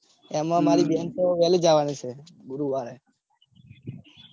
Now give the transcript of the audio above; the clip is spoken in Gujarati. એમાં મારી બેન તો વેલી જવાની છે. ગુરુવારે